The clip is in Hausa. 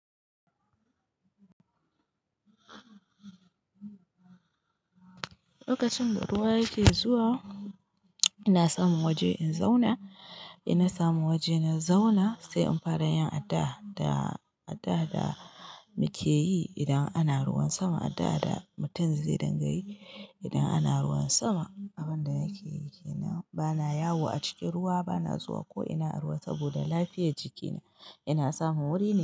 Lokacin da ruwa yake zuwa, ina samun waje in zauna. In na samu waje na zauna, sai in fara yin addu'a, da addu'a da muke yi idan ana ruwan sama, addu'a da mutum zai dinga yi idan ana ruwan sama. Abin da yake yi ke nan, bana yawo a cikin ruwa, bana zuwa ko ina ruwa saboda lafiyar jikina. Ina samun wuri ne.